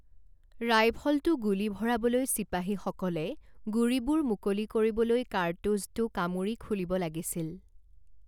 ৰাইফলটো গুলী ভৰাবলৈ চিপাহীসকলে গুড়িবোৰ মুকলি কৰিবলৈ কাৰ্টুজটো কামোৰি খুলিব লাগিছিল।